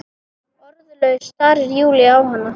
Orðlaus starir Júlía á hana.